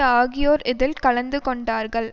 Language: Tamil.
ஆகியோர் இதில் கலந்து கொண்டார்கள்